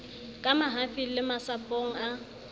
ka mahafing le masapong a